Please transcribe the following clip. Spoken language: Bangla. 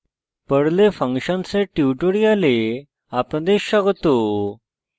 perl perl এ functions ফাংশনস এর tutorial আপনাদের স্বাগত